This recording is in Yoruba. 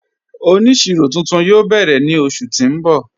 Oníṣírò tuntun yóò bẹ́rẹ̀ ni oṣù tí n bọ́.